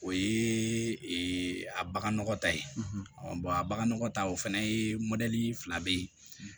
O ye a bagan nɔgɔ ta ye a baganɔgɔ ta o fɛnɛ ye fila be ye